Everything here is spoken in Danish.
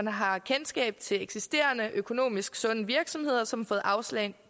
har kendskab til eksisterende økonomisk sunde virksomheder som har fået afslag